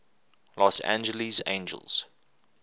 los angeles angels